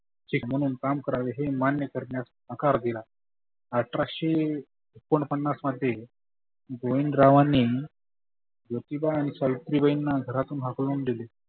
शिक म्हणून काम करावे हे मान्य करण्यास नकार दिला. आठराशे एकोन पन्नास मध्ये गोविंदरावांनी ज्योतीबा आणि सावित्रीबाईंना घरातुन हकलून दिले.